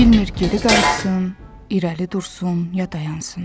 Bilmir geri qayıtsın, irəli dursun ya dayansın.